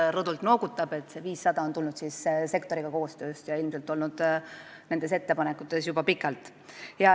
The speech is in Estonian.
Ta noogutab rõdult, et jah, see 500 on tulnud koostööst sektoriga ja ilmselt olnud nende ettepanekutes juba pikalt.